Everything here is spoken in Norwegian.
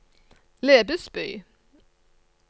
Lebesby